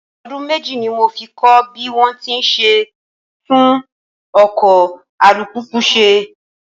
Ọdún méjì ní mo fi kọ́ bí wón ti ń ṣe tún ọkọ̀ alùpùpù ṣe.